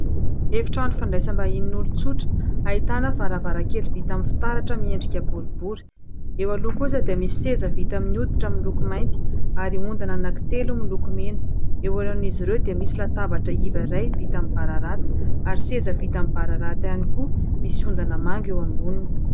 Efitrano fandraisam-bahinin' olon-tsotra ahitana varavarankely vita amin'ny fitaratra miendrika boribory. Eo aloha kosa dia misy seza vita amin'ny hoditra miloko mainty ary ondana anankitelo miloko mena. Eo alohan'izy ireo dia misy latabatra iva iray vita amin'ny bararata ary seza vita amin'ny bararata ihany koa, misy ondana manga eo amboniny.